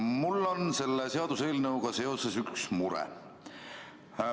Mul on selle seaduseelnõuga seoses üks mure.